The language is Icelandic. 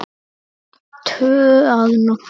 Tvö að nóttu